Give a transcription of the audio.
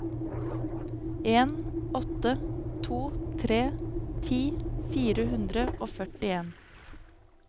en åtte to tre ti fire hundre og førtien